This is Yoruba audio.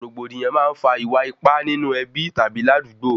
Rògbòdìyàn máa ń fà iwa-ipa nínú ẹbí tàbí ládugbó